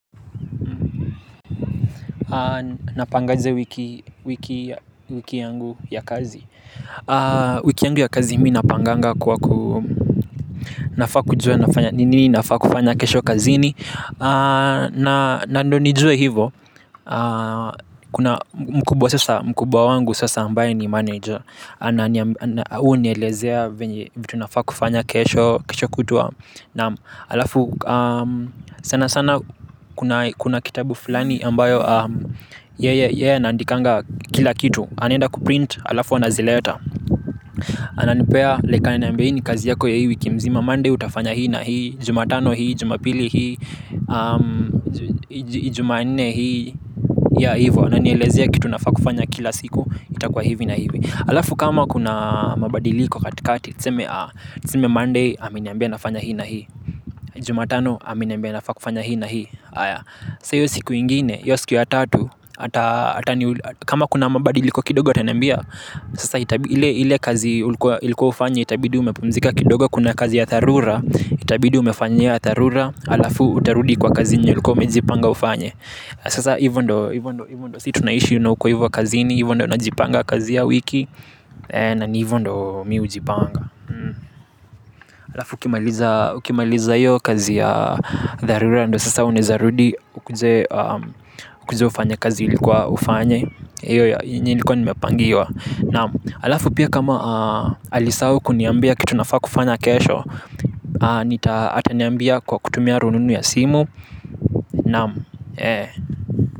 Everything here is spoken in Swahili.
NapangaJe wiki yangu ya kazi. Wiki yangu ya kazi mi napanganga kwa ku nafaa kujua nafanya nini nafaa kufanya kesho kazini Nando nijue hivo. Kuna mkubwa sasa mkubwa wangu sasa ambaye ni manager yeye hunielezea vitu nafaa kufanya kesho kutwa naam, alafu sana sana kuna kitabu fulani ambayo, yeye anaandikanga kila kitu anaenda kuprint alafu anazileta ananipea like ananambia hiii ni kazi yako ya hii wiki mzima, mondau utafanya hii na hii jumatano hii jumapili hii jumanne hii, yeah hivo ananielezia kitu nafaa kufanya kila siku itakuwa hivi na hivi alafu kama kuna mabadiliko katikati tuseme monday ameniambia nafanya hii na hii jumatano ameniambia nafaa kufanya hii na hii aya sasa hiyo siku ngine, hiyo siku ya tatu ata kama kuna mabadi iliko kidogo atanambia. Sasa ile kazi ulikua ufanye, itabidi umepumzika kidogo. Kuna kazi ya dharura. Itabidi umefanya hiyo ya dharura alafu utarudi kwa kazi yenye ulikua umejipanga ufanye. Sasa hivo ndo si tunaishi na uko hivo kazini hivo ndo najipanga kazi ya wiki na hivo ndo mi hujipanga alafu ukimaliza hiyo kazi ya dharura ndo sasa unaezarudi ukuje ufanye kazi ilikuwa ufanye iyo ya nilikuwa nimepangiwa. Naaam alafu pia kama alisahau kuniambia kitu nafaa kufanya kesho ataniambia kwa kutumia rununu ya simu, naam.